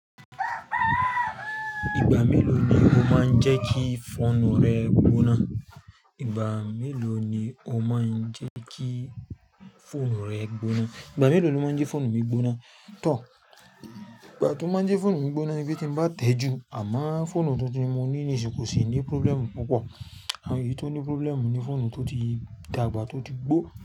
Ìgbà mélòó ni o máa ń jẹ́ kí fóònù rẹ gbóná? Ìgbà mélòó ni o máa ń jẹ́ kí fóònù rẹ gbóná? Ìgbà mélòó ni o máa ń jẹ́ fóònù mi gbóná? Tò. Ìgbà tí ó máa ń jẹ́ fóònù mi gbóná ni bí tí ń bá tẹ́ ju. Àmo fóònù tuntun tí mo ní nísìnyí kò sì ní problem púpọ̀. Àwon eyi tí ó ní problem ni fóònù tó ti dàgbà, tó ti gbó.